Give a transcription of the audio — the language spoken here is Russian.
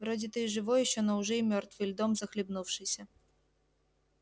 вроде ты и живой ещё но уже и мёртвый льдом захлебнувшийся